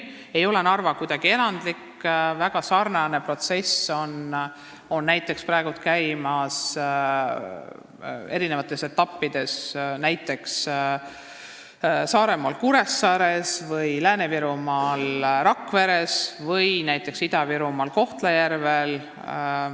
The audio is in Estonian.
Narva ei ole kuidagi erandlik, väga sarnane protsess käib näiteks praegu Saaremaal Kuressaares, Lääne-Virumaal Rakveres ja Ida-Virumaal Kohtla-Järvel.